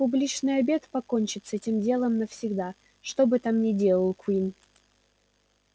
публичный обед покончит с этим делом навсегда что бы там ни делал куинн